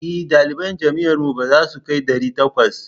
E, ɗaliban jami'ar mu ba za su kai ɗari takwas.